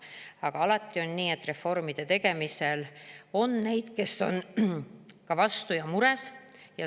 Aga alati on nii, et reformide tegemisel on neid, kes on ka vastu ja mures.